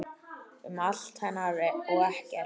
Um allt hennar og ekkert.